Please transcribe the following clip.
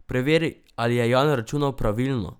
Preveri, ali je Jan računal pravilno.